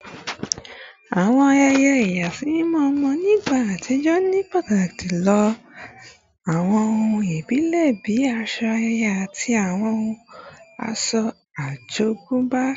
Àwọn ayẹyẹ ìyàsímímọ́ ọmọ ní ìgbà àtijọ́ ní pàtàkì lo àwọn ohun ìbílẹ̀ bí aṣọ ayẹyẹ àti àwọn ohun ọ̀ṣọ́ àjogúnbá